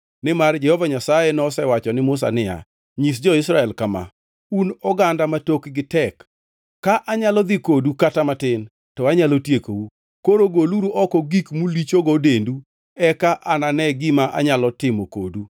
Nimar Jehova Nyasaye nosewacho ni Musa niya, “Nyis jo-Israel kama, ‘Un oganda ma tokgi tek. Ka anyalo dhi kodu kata matin, to anyalo tiekou. Koro goluru oko gik mulichogo dendu eka anane gima anyalo timo kodu.’ ”